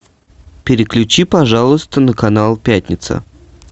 переключи пожалуйста на канал пятница